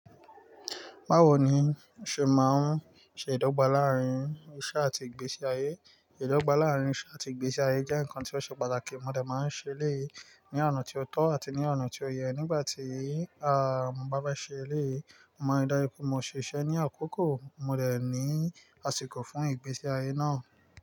Bawo ni o ṣe máa ń ṣe idọgba laarin iṣẹ ati igbesi aye? Idọgba laarin iṣẹ ati igbesi aye jẹ nkan ti o ṣe pataki, mo dẹ̀ máa ń ṣẹlẹyi ni ọna ti o tọ ati ni ọna ti o yẹ. Nigbati a, mo ba fẹ ṣẹlẹyi, mo maa ridaju mo ṣiṣẹ ni akoko, mo dẹ̀ ni asiko fun igbesi aye naa.